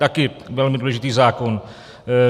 Taky velmi důležitý zákon.